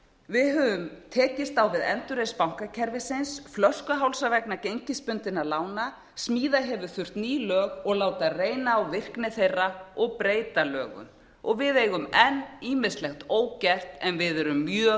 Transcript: við höfum tekist á við endurreisn bankakerfisins flöskuhálsa vegna gengisbundinna lána smíða hefur þurft ný lög og láta reyna á virkni þeirra og breyta lögum við eigum enn ýmislegt ógert en við erum mjög